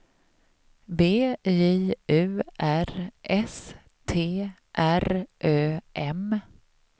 B J U R S T R Ö M